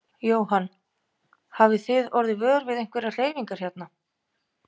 Jóhann: Hafið þið orðið vör við einhverjar hreyfingar hérna?